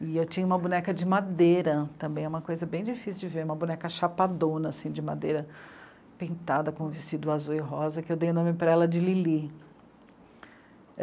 E eu tinha uma boneca de madeira, também é uma coisa bem difícil de ver, é uma boneca chapadona, assim, de madeira, pintada com vestido azul e rosa, que eu dei o nome para ela de Lili.